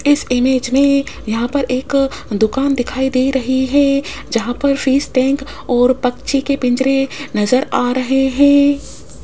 इस इमेज में यहां पर एक दुकान दिखाई दे रही है जहां पर फिश टैंक और पक्षी के पिंजरे नजर आ रहे हैं।